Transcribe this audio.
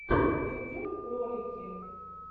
ютюб ролики